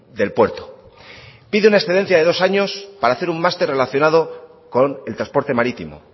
del puerto pide una excedencia de dos años para hacer un máster relacionado con el transporte marítimo